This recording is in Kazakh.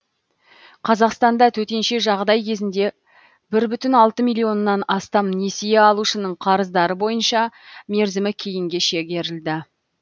қазақстанда төтенше жағдай кезінде бір бүтін алты миллионнан астам несие алушының қарыздары бойынша мерзімі кейінге шегерілді